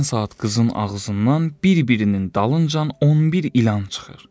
Həmən saat qızın ağzından bir-birinin dalıncan 11 ilan çıxır.